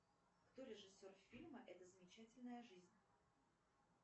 кто режиссер фильма эта замечательная жизнь